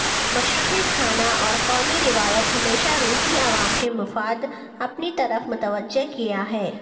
مشرقی کھانا اور قومی روایات ہمیشہ روسی عوام کے مفاد اپنی طرف متوجہ کیا ہے